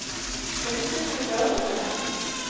Hringdirðu í lögregluna?